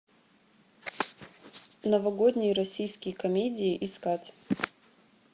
новогодние российские комедии искать